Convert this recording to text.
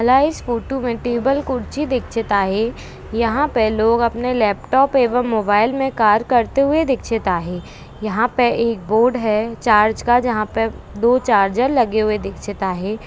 माला इस फोटो मे टेबल कुर्ची दिक्चित आहे यहाँ पे लोग अपने लैपटाप एवं मोबाइल मे कार करते हुए दिक्चित आहे यहाँ पे एक बोर्ड है चार्ज का जहा पे दो चार्जर लगी हुई दिक्चित आहे.